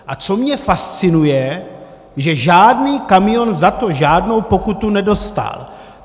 A co mě fascinuje, že žádný kamion za to žádnou pokutu nedostal.